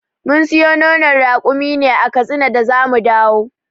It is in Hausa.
Mun siyo nonon rakumin ne a katsina da zamu dawo.